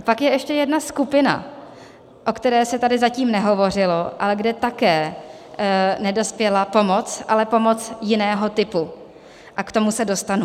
A pak je ještě jedna skupina, o které se tady zatím nehovořilo, ale kde také nedospěla pomoc, ale pomoc jiného typu, a k tomu se dostanu.